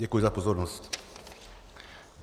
Děkuji za pozornost.